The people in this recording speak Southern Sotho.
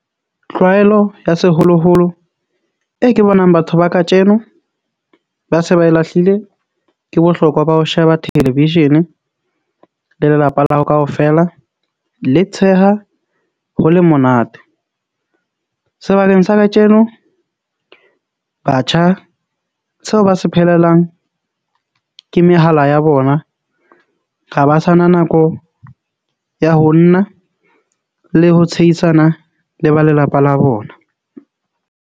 Tlwaelo ya seholoholo e ke bonang batho ba katjeno ba se ba e lahlile ke bohlokwa ba ho sheba television-e le lelapa la hao kaofela, le tsheha ho le monate. Sebakeng sa katjeno batjha seo ba se phelelang ke mehala ya bona. Ra ba sa na nako ya ho nna le ho tshehisana le ba lelapa la bona.